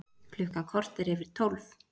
Klukkan korter yfir tólf